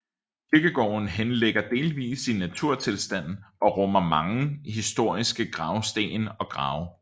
Kirkegården henligger delvis i naturtilstand og rummer mange historiske gravsten og grave